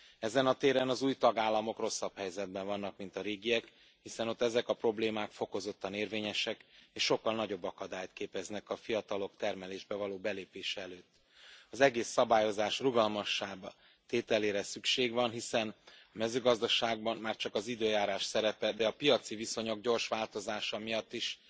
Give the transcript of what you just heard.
Ezen a téren az új tagállamok rosszabb helyzetben vannak, mint a régiek, hiszen ott ezek a problémák fokozottan érvényesek és sokkal nagyobb akadályt képeznek a fiatalok termelésbe való belépése előtt. Az egész szabályozás rugalmasabbá tételére van szükség, hiszen a mezőgazdaságban már csak az időjárás szerepe, de a piaci viszonyok gyors változása miatt is